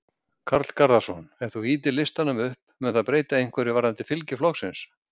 Karl Garðarsson: Ef þú ýtir listanum upp, mun það breyta einhverju varðandi fylgi flokksins?